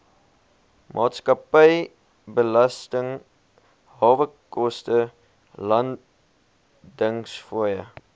maatskappybelasting hawekoste landingsfooie